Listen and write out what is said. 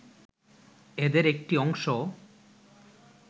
এদের একটি অংশ